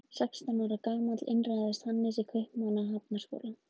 Sextán ára gamall innritaðist Hannes í Kaupmannahafnarháskóla.